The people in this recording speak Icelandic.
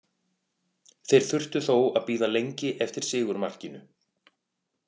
Þeir þurftu þó að bíða lengi eftir sigurmarkinu.